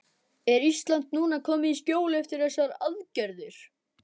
Er Ísland núna komið í skjól eftir þessar aðgerðir?